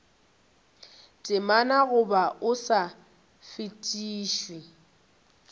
temana goba o sa fetišwe